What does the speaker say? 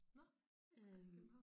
Nå også i København